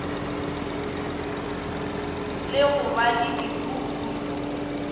le go ba le dihuku